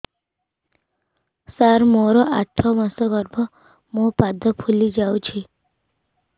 ସାର ମୋର ଆଠ ମାସ ଗର୍ଭ ମୋ ପାଦ ଫୁଲିଯାଉଛି